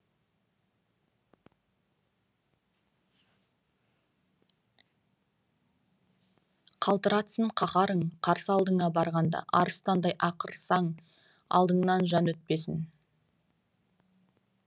қалтыратсын қаһарың қарсы алдыңа барғанда арыстандай ақырсаң алдыңнан жан өтпесін